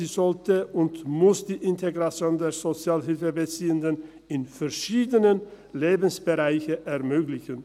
Sie sollte und muss die Integration der Sozialhilfebeziehenden in verschiedenen Lebensbereichen ermöglichen.